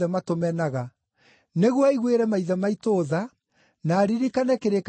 nĩguo aiguĩre maithe maitũ tha, na aririkane kĩrĩkanĩro gĩake gĩtheru,